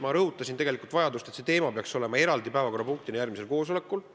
Ma rõhutasin seal vajadust, et see teema peaks olema järgmisel koosolekul eraldi päevakorrapunkt.